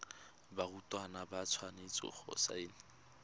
barutwana ba tshwanetse go saena